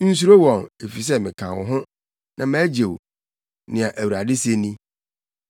Nsuro wɔn, efisɛ meka wo ho, na magye wo,” nea Awurade se ni.